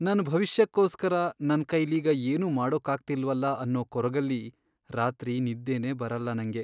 ನನ್ ಭವಿಷ್ಯಕ್ಕೋಸ್ಕರ ನನ್ಕೈಲೀಗ ಏನೂ ಮಾಡೋಕ್ಕಾಗ್ತಿಲ್ವಲ ಅನ್ನೋ ಕೊರಗಲ್ಲಿ ರಾತ್ರಿ ನಿದ್ದೆನೇ ಬರಲ್ಲ ನಂಗೆ.